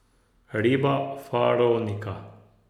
Riba Faronika.